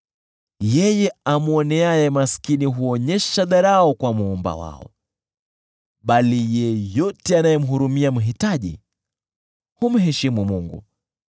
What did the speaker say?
Yeye amwoneaye maskini huonyesha dharau kwa Muumba wao, bali yeyote anayemhurumia mhitaji humheshimu Mungu.